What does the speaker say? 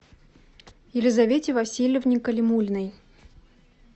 елизавете васильевне калимуллиной